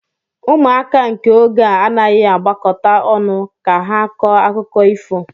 Ụmụaka nke ógè a anaghịzi agbakọta ọnụ ka ha kọọ akụkọ ifo